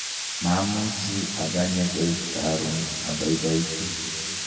mamuchi akanye koit karon, abaibaitu